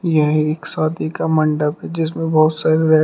यह एक शादी का मंडप है जिसमें बहुत सारी लाइट --